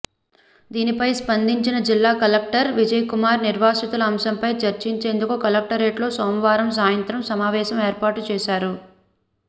దీనిపై స్పందించిన జిల్లా కలెక్టర్ విజయకుమార్ నిర్వాసితుల అంశంపై చర్చించేందుకు కలెక్టరేట్లో సోమవారం సాయంత్రం సమావేశం ఏర్పాటు చేశారు